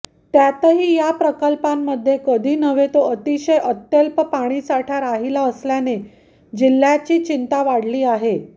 त्यातही या प्रकल्पांमध्ये कधीनव्हे तो अतिशय अत्यल्प पाणीसाठा राहिला असल्याने जिल्ह्याची चिंता वाढली आहे